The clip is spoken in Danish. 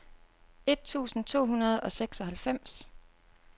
et tusind to hundrede og seksoghalvfems